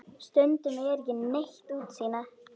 Stundum er ekki neitt útsýni!